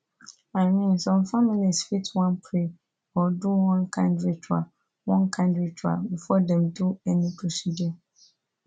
i mean some families fit wan pray or do one kind ritual one kind ritual before dem do any procedure